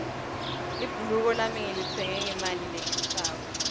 libhuluko lami ngilitsenge ngemali leshisako